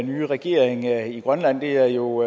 nye regering i grønland det er jo